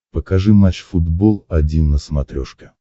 покажи матч футбол один на смотрешке